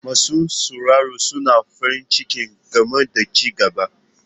Masu sauraro suna farin ciki game da ci gaba.